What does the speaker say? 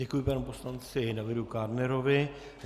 Děkuji panu poslanci Davidu Kádnerovi.